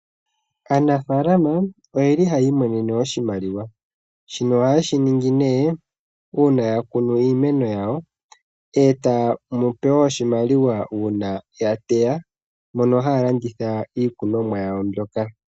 Aanafaalama oyeli haya imonene oshimaliwa. Shino oha ye shiningi nee uuna ya kunu iimeno yawo. Etaya monopo oshimaliwa uuna ya teya shampa ya landitha iikunomwa yawo mbyoka.